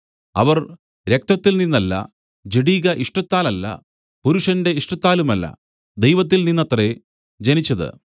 അവർ രക്തത്തിൽ നിന്നല്ല ജഡിക ഇഷ്ടത്താലല്ല പുരുഷന്റെ ഇഷ്ടത്താലുമല്ല ദൈവത്തിൽ നിന്നത്രേ ജനിച്ചത്